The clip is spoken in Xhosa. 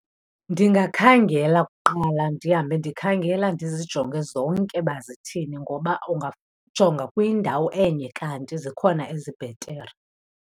Ndingakhangela kuqala, ndihambe ndikhangela, ndizijonge zonke uba zithini, ngoba ungajonga kwindawo enye kanti zikhona ezibhetere.